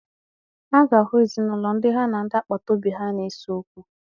A ga-ahụ ezinaụlọ ndị ha na ndị agbata obi na-ese okwu.